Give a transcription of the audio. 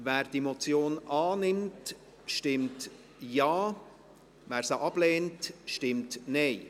Wer diese Motion annimmt, stimmt Ja, wer diese ablehnt, stimmt Nein.